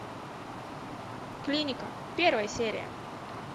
клиника первая серия